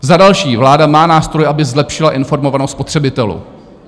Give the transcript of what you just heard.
Za další: vláda má nástroje, aby zlepšila informovanost spotřebitelů.